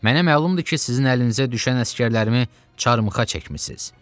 Mənə məlumdur ki, sizin əlinizə düşən əsgərlərimi çarmıxa çəkmisiniz.